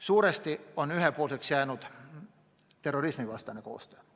Suuresti on ühepoolseks jäänud terrorismivastane koostöö.